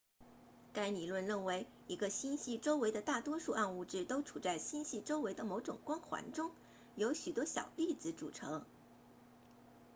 该理论认为一个星系周围的大多数暗物质都处在星系周围的某种光环中由许多小粒子组成